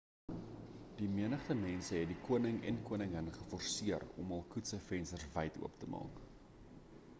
die menigte mense het die koning en koningin geforseer om hul koets se vensters wyd oop te maak